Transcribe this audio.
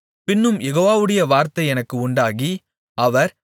பின்னும் யெகோவாவுடைய வார்த்தை எனக்கு உண்டாகி அவர்